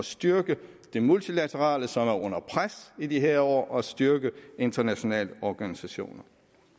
styrke det multilaterale som er under pres i de her år og styrke internationale organisationer